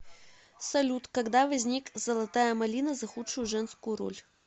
салют когда возник золотая малина за худшую женскую роль